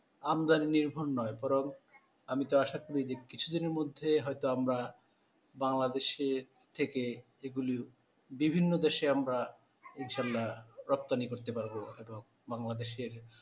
আমদানি নির্ভর নয় বরং আমি তো আশা করি যে কিছুদিনের মধ্যেই হয়তো আমরা বাংলাদেশের থেকে এইগুলিও বিভিন্ন দেশে আমরা ইনশাল্লাহ রপ্তানি করতে পারবো এবং বাংলাদেশের,